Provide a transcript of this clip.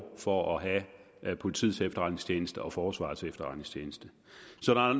for at have politiets efterretningstjeneste og forsvarets efterretningstjeneste så